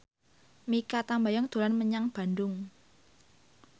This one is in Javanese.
Mikha Tambayong dolan menyang Bandung